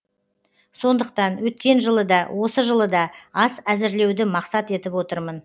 сондықтан өткен жылы да осы жылы да ас әзірлеуді мақсат етіп отырмын